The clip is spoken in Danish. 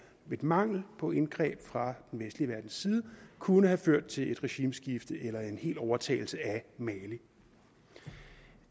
mangel på indgreb fra den vestlige verdens side kunne have ført til et regimeskifte eller en hel overtagelse af mali